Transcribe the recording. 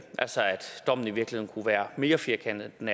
dommen i virkeligheden kunne være mere firkantet end